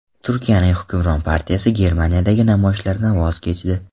Turkiyaning hukmron partiyasi Germaniyadagi namoyishlardan voz kechdi.